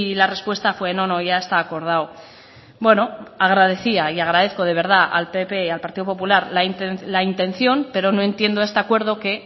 la respuesta fue no no ya está acordado bueno agradecía y agradezco de verdad al pp al partido popular la intención pero no entiendo este acuerdo que